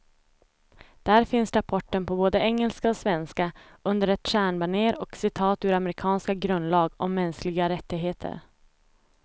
Där finns rapporten på både engelska och svenska, under ett stjärnbanér och citat ur amerikanernas grundlag om mänskliga rättigheter.